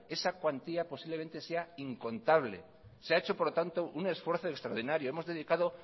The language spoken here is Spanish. esa cuantía posiblemente sea incontable se ha hecho por lo tanto un esfuerzo extraordinario hemos dedicado